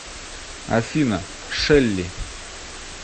афина шелли